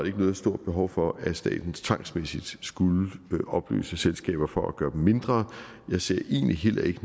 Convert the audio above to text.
ikke noget stort behov for at staten tvangsmæssigt skulle opløse selskaber for at gøre dem mindre jeg ser egentlig heller ikke